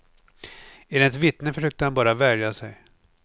Enligt vittnen försökte han bara värja sig.